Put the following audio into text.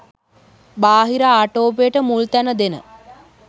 බාහිර ආටෝපයට මුල් තැන දෙන